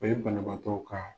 O ye banabaatɔw ka